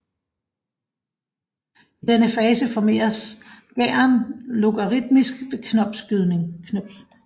I denne fase formeres gæren logaritmisk ved knopskydning